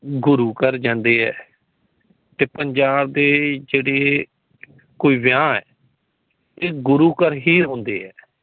ਗੁਰੂ ਘਰ ਜਾਂਦੇ ਹੈ ਤੇ ਪੰਜਾਬ ਦੇ ਜੇੜੇ ਕੋਈ ਵਿਵਹਾ ਹੈ ਤੇ ਗੁਰੂ ਘਰ ਹੁੰਦੇ ਹੈ